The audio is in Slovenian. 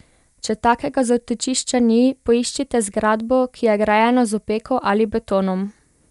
Če takega zatočišča ni, poiščite zgradbo, ki je grajena z opeko ali betonom.